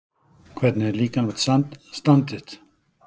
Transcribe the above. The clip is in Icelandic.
Hvernig er líkamlegt stand þitt?